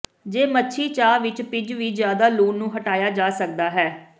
ਜੇ ਮੱਛੀ ਚਾਹ ਵਿਚ ਭਿੱਜ ਵੀ ਜ਼ਿਆਦਾ ਲੂਣ ਨੂੰ ਹਟਾਇਆ ਜਾ ਸਕਦਾ ਹੈ